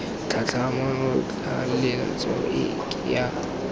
tlhatlhamano tlaleletso e ke ya